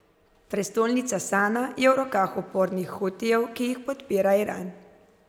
Prestolnica Sana je v rokah upornih Hutijev, ki jih podpira Iran.